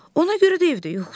Ona görə də evdə yoxdur.